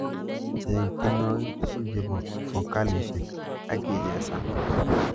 Cheng tyenwogik tugul chebo fokalishek agichesan